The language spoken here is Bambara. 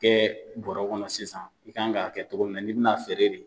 Kɛ bɔrɛ kɔnɔ sisan i kan ka kɛ cogo min na, n'i bɛna feere de